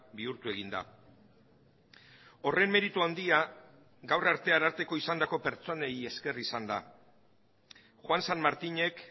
bihurtu egin da horren meritu handia gaur arte ararteko izandako pertsonei esker izan da juan san martinek